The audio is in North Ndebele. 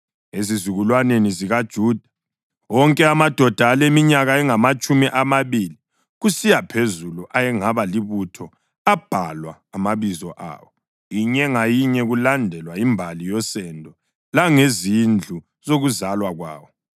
Ezizukulwaneni zikaJuda: Wonke amadoda aleminyaka engamatshumi amabili kusiya phezulu ayengaba libutho abhalwa amabizo awo, inye ngayinye, kulandelwa imbali yosendo langezindlu zokuzalwa kwawo.